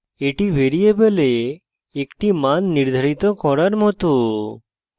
এটি ভ্যারিয়েবলে একটি মান নির্ধারিত করার it